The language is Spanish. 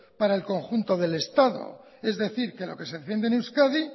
para el conjunto del estado es decir que lo que se defiende en euskadi